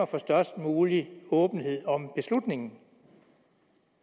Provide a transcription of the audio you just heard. for størst mulig åbenhed om beslutningen